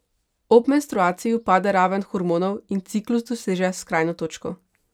Ob menstruaciji upade raven hormonov in ciklus doseže skrajno točko.